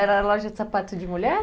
Era loja de sapatos de mulher?